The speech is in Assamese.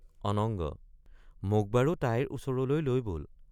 অনঙ্গ—মোক বাৰু তাইৰ ওচৰলৈ লৈ বল।